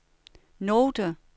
note